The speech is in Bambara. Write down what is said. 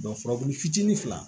furabulu fitinin fila